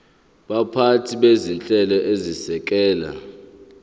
baphathi bezinhlelo ezisekela